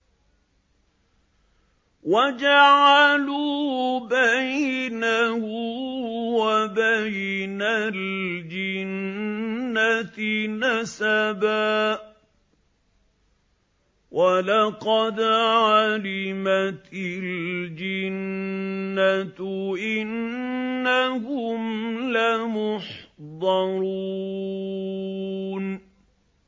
وَجَعَلُوا بَيْنَهُ وَبَيْنَ الْجِنَّةِ نَسَبًا ۚ وَلَقَدْ عَلِمَتِ الْجِنَّةُ إِنَّهُمْ لَمُحْضَرُونَ